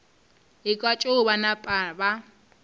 ekwa tšeo ba napa ba